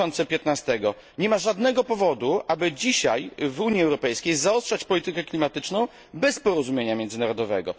2015. Nie ma żadnego powodu, aby dzisiaj w Unii Europejskiej zaostrzać politykę klimatyczną bez porozumienia międzynarodowego.